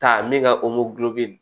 Taa min ka nin